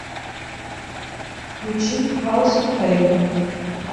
включи хаус оф пэйн